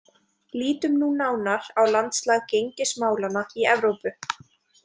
Lítum nú nánar á landslag gengismálanna í Evrópu.